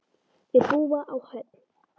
Þau búa á Höfn.